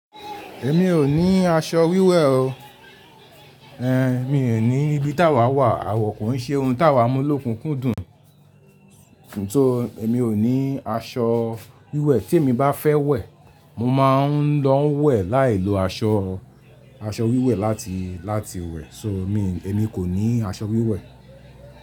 Èmi ò ní aṣọ wíwẹ̀ o, ẹ mi ò ní ibi tá wà wà àwọ̀ kò ń ṣe ohun tá wà mú lókun kú dùn. So, èmi ò ní aṣọ wíwẹ̀ tí èmi bá fẹ́ wẹ̀, mo máa ń lọ wẹ̀ láì lo asọ, aṣọ wíwẹ̀ láti, láti wẹ̀. So mi, èmi kò ní aṣọ wíwẹ̀.